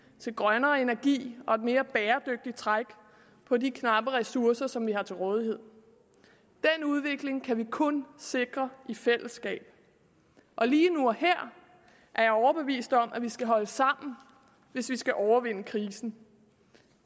til grønnere energi og et mere bæredygtigt træk på de knappe ressourcer som vi har til rådighed den udvikling kan vi kun sikre i fællesskab og lige nu og her er jeg overbevist om at vi skal holde sammen hvis vi skal overvinde krisen